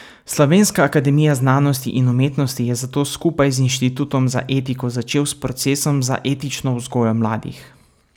Slovenska akademija znanosti in umetnosti je zato skupaj z Inštitutom za etiko začel s procesom za etično vzgojo mladih.